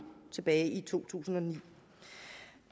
tilbage i to tusind og ni